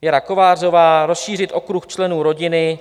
Věra Kovářová, rozšířit okruh členů rodiny.